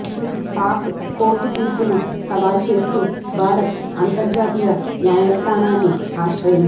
Pak court తీర్పును సవాల్ చేస్తూ భారత్ అంతర్జాతీయ న్యాయస్ధానాన్ని ఆశ్రయించింది